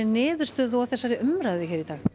niðurstöðu og þessari umræðu